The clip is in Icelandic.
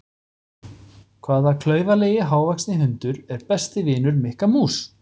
Hvaða klaufalegi hávaxni hundur er besti vinur Mikka mús?